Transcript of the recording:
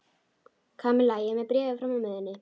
Kamilla, ég er með bréfið frá mömmu þinni.